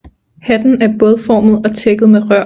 Hatten er bådformet og tækket med rør